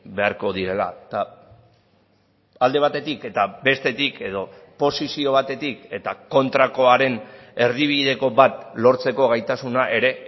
beharko direla eta alde batetik eta bestetik edo posizio batetik eta kontrakoaren erdibideko bat lortzeko gaitasuna ere